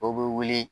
Dɔw bɛ wuli